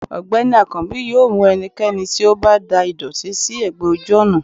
ọgbẹni akanbi yóò mú ẹnikẹni tí o ba dà ìdòtí si egbè ojú ònà